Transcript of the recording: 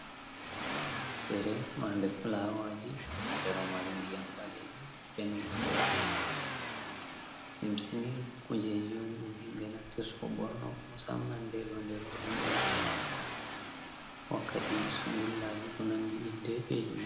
Lumsere marde fulawaji, ndeɗo mari ndiyam balejum, danejum, limsini kuje un ɗum himɓe naftir tow ɓorno musamman ndedo nde roɓe on naftir tor fauno wakkati sungullaji kunaldi inde be julde.